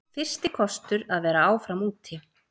Fyrsti kostur að vera áfram úti